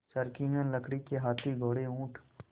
चर्खी है लकड़ी के हाथी घोड़े ऊँट